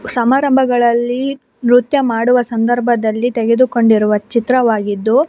ಸಮಾರಂಭಗಳಲ್ಲಿ ನೃತ್ಯ ಮಾಡುವ ಸಂದರ್ಭದಲ್ಲಿ ತೆಗೆದು ಕೊಂಡಿರುವ ಚಿತ್ರವಾಗಿದ್ದು --